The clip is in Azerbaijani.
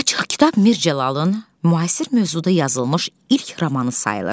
Açıq kitab Mir Cəlalın müasir mövzuda yazılmış ilk romanı sayılır.